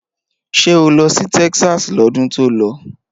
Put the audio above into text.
Ṣé o lọ sí Texas lọ́dún tó lọ?